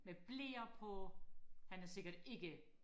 med bleer på han er sikkert ikke